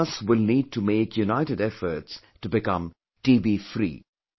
All of us will need to make united efforts to become TBfree